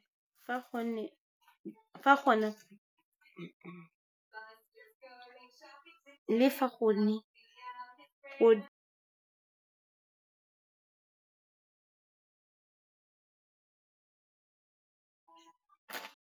Le fa go ne.